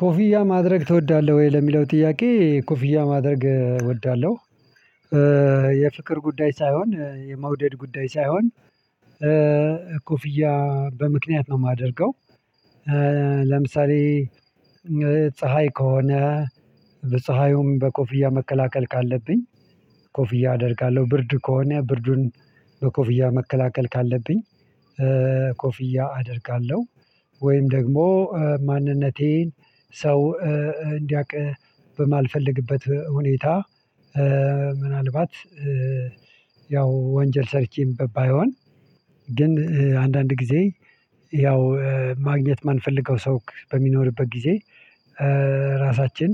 ኮፊያ ማድረግ ትወዳለሁ ወይ ለሚለው ጥያቄ ኮፊያ ማድረግ እወዳለሁ። የፍቅር ጉዳይ ሳይሆን የመውደድ ጉዳይ ሳይሆን ኮፍያ በምክንያት ነው የማደርገው። ለምሳሌ ፀሀይ ከሆነ በፀሀዩም በኮፍያ መከላከል ካለብኝ ቆፍያ አደርጋለሁ። ብርድ ከሆነ ብርዱን በኮፍያ መከላከል ካለብኝ ኮፍያ አደርጋለሁ። ወይም ደግሞ ማንነቴን ሰው እንዲያቅ በማልፈልግበት ሁኔታ ምናልባት ያው ወንጀል ሰርቼም ባይሆን ግን አንዳንድ ጊዜ ያው ማግኘት የማንፈልገው ሰው በሚኖርበት ጊዜ። ራሳችን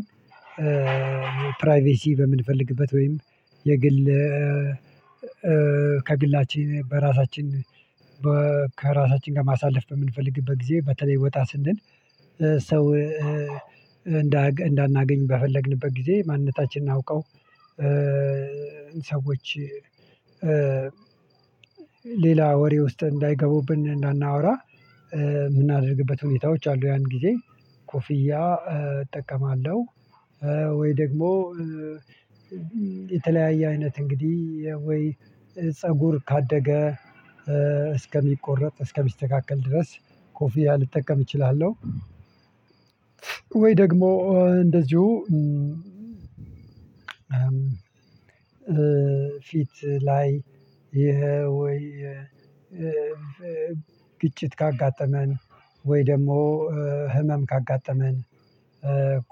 ፕራይቬሲ በምንፈልግበት ወይም የግል ከግላችን በራሳችን ከራሳችን ጋር ማሳለፍ በምንፈልግበት ጊዜ በተለይ ወጣ ስንል ሰው እንዳናገኝ በፈለግንበት ጊዜ ማንነታችንን አውቀው ሰዎች ሌላ ወሬ ውስጥ እንዳይገቡብን እንዳናወራ የምናደርግበት ሁኔታዎች አሉ። ያን ጊዜ ኮፍያ እጠቀማለሁ። ወይ ደግሞ የተለያየ አይነት እንግዲህ ወይ ፀጉር ካደገ እስከሚቆረጥ እስከሚስተካከል ድረስ ኮፍያ ልጠቀም እችላለሁ። ወይ ደግሞ እንደዚሁ ፊት ላይ ይሄ ወይ ግጭት ካጋጠመን ወይ ደግሞ ህመም ካጋጠመን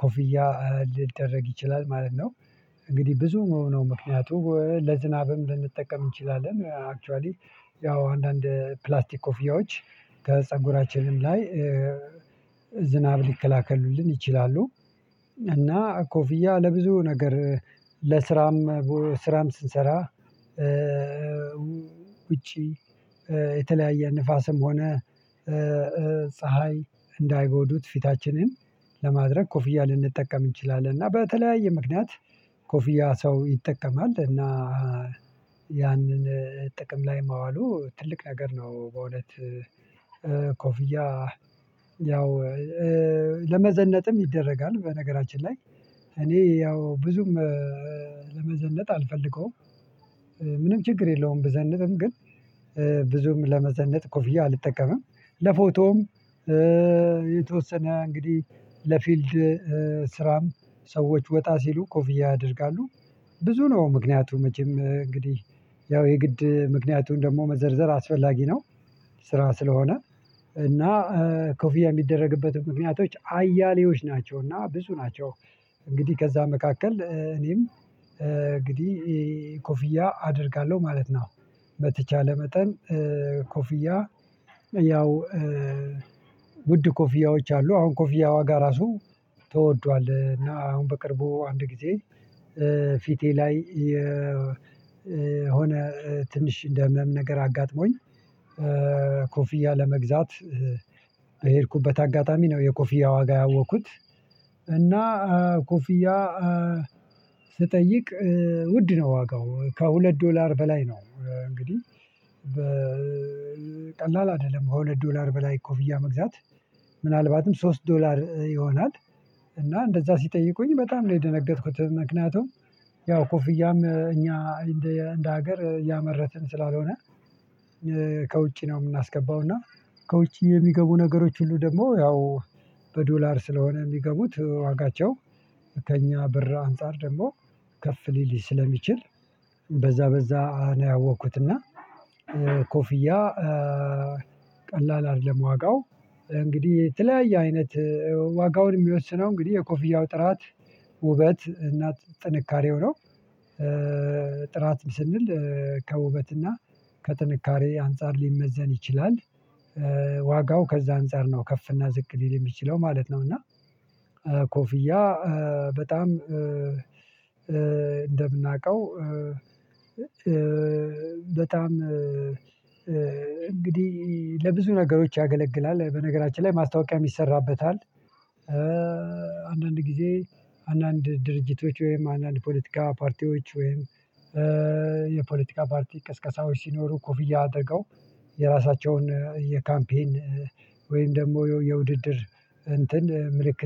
ኮፍያ ሊደረግ ይችላል ማለት ነው። እንግዲህ ብዙ ነው ምክንያቱ ለዝናብም ልንጠቀም እንችላለን አክችዋሊ ያው አንዳንድ ፕላስቲክ ኮፊያዎች ከፀጉራችንም ላይ ዝናብ ሊከላከሉልን ይችላሉ። እና ኮፍያ ለብዙ ነገር ለስራም ስራም ስንሰራ ውጪ የተለያየ ንፋስም ሆነ ፀሀይ እንዳይጎዱት ፊታችንን ለማድረግ ኮፍያ ልንጠቀም እንችላለን። እና በተለያየ ምክንያት ኮፍያ ሰው ይጠቀማል እና ያንን ጥቅም ላይ ማዋሉ ትልቅ ነገር ነው። በእውነት ኮፍያ ያው ለመዘነጥም ይደረጋል በነገራችን ላይ እኔ ያው ብዙም ለመዘነጥ አልፈልገውም። ምንም ችግር የለውም ብዘንጥም ግን ብዙም ለመዘነጥ ኮፍያ አልጠቀምም። ለፎቶም የተወሰነ እንግዲህ ለፊልድ ስራም ሰዎች ወጣ ሲሉ ኮፍያ ያደርጋሉ። ብዙ ነው ምክንያቱም መቼም እንግዲህ ያው የግድ ምክንያቱን ደግሞ መዘርዘር አስፈላጊ ነው። ስራ ስለሆነ እና ኮፊያ የሚደረግበት ምክንያቶች አያሌዎች ናቸው እና ብዙ ናቸው። እንግዲህ ከዛ መካከል እኔም እንግዲህ ኮፍያ አደርጋለሁ ማለት ነው። በተቻለ መጠን ኮፍያ ያው ውድ ኮፊያዎች አሉ አሁን ኮፊያ ዋጋ እራሱ ተወዷል እና አሁን በቅርቡ አንድ ጊዜ ፊቴ ላይ የሆነ ትንሽ እንደ ህመም ነገር አጋጥሞኝ። ኮፍያ ለመግዛት በሄድኩበት አጋጣሚ ነው የኮፍያ ዋጋ ያወቅኩት። እና ኮፍያ ስጠይቅ ውድ ነው ዋጋው ከሁለት ዶላር በላይ ነው። እንግዲህ በቀላል አይደለም። ከሁለት ዶላር በላይ ኮፍያ መግዛት ምናልባትም ሶስት ዶላር ይሆናል። እና እንደዛ ሲጠይቁኝ በጣም ነው የደነገጥኩት። ምክንያቱም ያው ኮፍያም እኛ እንደ እንደ ሀገር ያመረትን ስላልሆነ። ከውጪ ነው የምናስገባው። እና ከውጪ የሚገቡ ነገሮች ሁሉ ደግሞ ያው በዶላር ስለሆነ የሚገቡት ዋጋቸው ከእኛ ብር አንፃር ደግሞ ከፍ ሊል ስለሚችል። በዛ በዛ ነው ያወኩት። እና ኮፍያ ቀላል አይደለም። ዋጋው እንግዲህ የተለያየ አይነት ዋጋውን የሚወስነው እንግዲህ የኮፍያው ጥራት ውበት እናት ጥንካሬው ነው። ጥራትን ስንል ከውበትና ከጥንካሬ አንፃር ሊመዘን ይችላል። ዋጋው ከዛ አንፃር ነው ከፍ እና ዝቅ ሊል የሚችለው ማለት ነው። እና ኮፍያ በጣም እንደምናውቀው በጣም እንግዲህ ለብዙ ነገሮች ያገለግላል በነገራችን ላይ ማስታወቂያም ይሰራበታል። አንዳንድ ጊዜ አንዳንድ ድርጅቶች ወይም አንዳንድ ፖለቲካ ፓርቲዎች ወይም የፖለቲካ ፓርቲ ቅስቀሳዎች ሲኖሩ ኮፍያ አደረገው የራሳቸውን የካምፔን ወይም ደግሞ የውድድር እንትን ምልክት